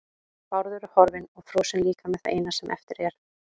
Bárður er horfinn og frosinn líkami það eina sem eftir er.